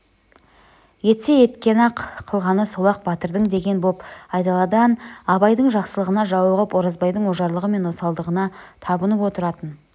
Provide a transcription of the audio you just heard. етсе еткені-ақ қылғаны сол-ақ батырдың деген боп айдаладан абайдың жақсылығына жауығып оразбайдың ожарлығы мен осалдығына табынып отыратын